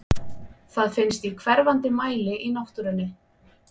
Það finnst í hverfandi mæli í náttúrunni.